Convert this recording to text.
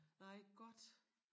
Nej godt